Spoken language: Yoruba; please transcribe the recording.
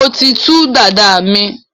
mọ tí tú Dàda mí.